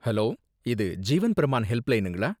Hello! இது ஜீவன் பிரமான் ஹெல்ப்லைனுங்களா?